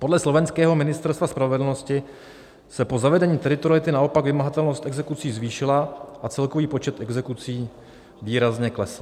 Podle slovenského Ministerstva spravedlnosti se po zavedení teritoriality naopak vymahatelnost exekucí zvýšila a celkový počet exekucí výrazně klesl."